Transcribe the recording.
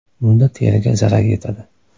Bunda teriga zarar yetadi.